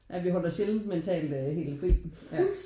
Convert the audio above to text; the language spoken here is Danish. Ja vi holder sjældent mentalt helt fri ja